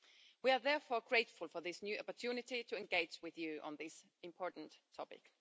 We are therefore grateful for this new opportunity to engage with you on this important topic.